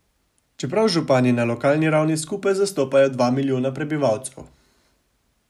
Čeprav župani na lokalni ravni skupaj zastopajo dva milijona prebivalcev.